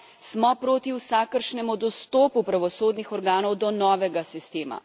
Smo proti vsakršnemu dostopu pravosodnih organov do novega sistema?